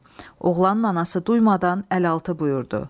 Oğlanın anası duymadan əl altı buyurdu.